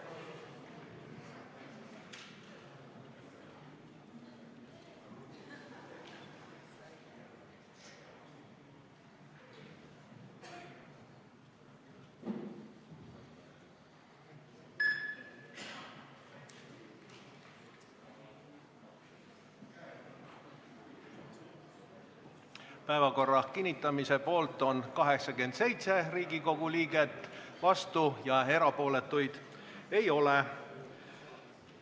Hääletustulemused Päevakorra kinnitamise poolt on 87 Riigikogu liiget, vastuolijaid ega erapooletuid ei ole.